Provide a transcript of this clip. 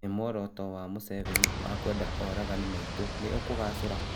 ĩ muoroto wa Museveni wa kwenda oragani maitwo nĩ ũkũgacĩ ra?